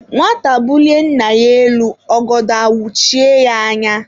Nwata bulie nna ya elu, ọgọdọ awuchie yá anya